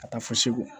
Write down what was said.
Ka taa fo segu